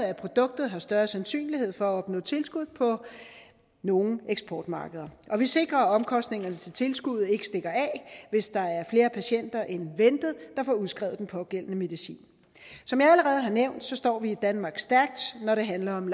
at produkter har større sandsynlighed for at opnå tilskud på nogle eksportmarkeder og vi sikrer at omkostningerne til tilskuddet ikke stikker af hvis der er flere patienter end ventet der får udskrevet den pågældende medicin som jeg allerede har nævnt står vi i danmarks stærkt når det handler om